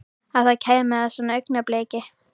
Að það kæmi að svona augnabliki.